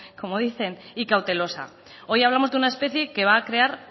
como dicen y cautelosa hoy hablamos de una especie que va a crear